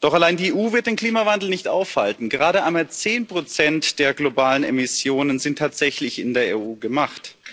Doch allein die EU wird den Klimawandel nicht aufhalten gerade einmal 10 der globalen Emissionen sind tatsächlich in der EU gemacht.